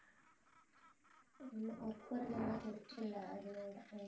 ஆமா work போறதுனால rest இல்ல அதனாலதான்